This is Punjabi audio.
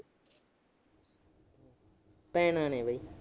ਭੈਣਾਂ ਨੇ ਬਾਈ।